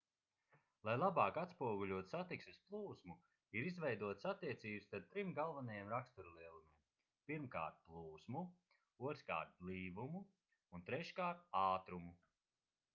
lai labāk atspoguļotu satiksmes plūsmu ir izveidotas attiecības starp trim galvenajiem raksturlielumiem: 1 plūsmu 2 blīvumu un 3 ātrumu